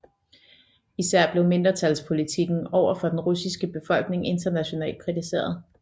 Især blev mindretalspolitikken over for den russiske befolkning internationalt kritiseret